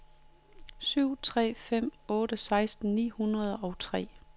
syv tre fem otte seksten ni hundrede og tre